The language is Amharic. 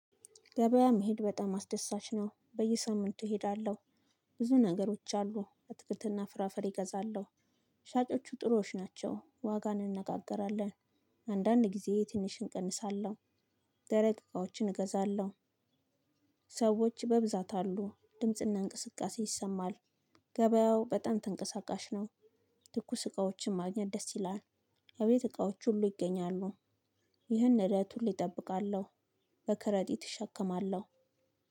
ገበያ መሄድ በጣም አስደሳች ነው በየሳምንቱ እሄዳለሁ። ብዙ ነገሮች አሉ አትክልትና ፍራፈሬ እገዛለሁ። ሻጮቹ ጥሩዎች ናቸው ዋጋን እንነጋገራለን። አንዳንድ ጊዜ ትንሽ እንቀንሳለሁ። ደረቅ እቃዎችን እገዛለሁ። ሰዎች በብዛት አሉ ድምጽና እንቅስቃሴ ይሰማል። ገበያው በጣም ተንቀሳቃሽ ነው። ትኩስ እቃዎችን ማግኘት ደስ ይላል። እቤት እቃዎች ሁሉ ይገኛሉ። ይህን ሂደት ሁሌ እጠብቃለሁ። በከረጢት እሸከማለሁ